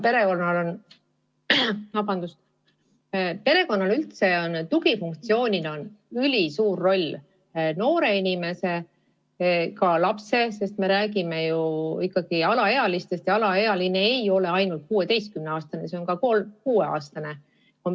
Perekonnal on tugifunktsioonina ülisuur roll noore inimese – ka lapse, sest me räägime ju ikkagi alaealistest ja alaealine ei ole ainult 16-aastane, vaid ka kuueaastane – elus.